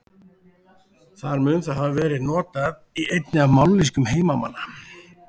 Þar mun það hafa verið notað í einni af mállýskum heimamanna.